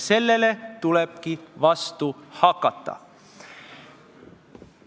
Sellele tulebki vastu hakata.